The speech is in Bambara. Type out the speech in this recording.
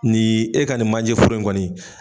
Nin e ka nin manjɛ foro in kɔni.